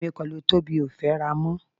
Èmi pẹ̀lú Tóbi ò fẹ́ra mọ́.